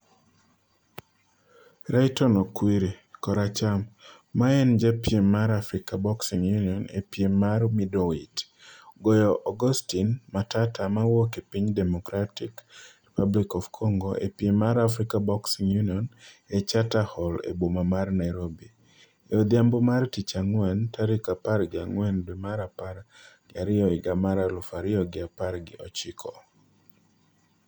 Rayton Okwiri (koracham) ma en ja piem mar Africa Boxing Union e piem mar Middleweight, goyo Augustine Matata ma wuok e piny Democratic Republic of Congo e piem mar Africa Boxing Union e Charter Hall e boma mar Nairobi, e odhiambo mar tich ang'wen, tarik apar gi ang'wen dwe mar apar gi ariyo higa mar aluf ariyo gi apar gi ochiko.